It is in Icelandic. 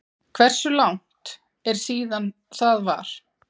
Hversu langt er síðan það var?